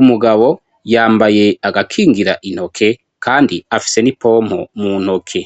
umugabo yambaye agakingira intoke kandi afise n'ipompo mu ntoke.